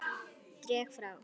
Dreg frá.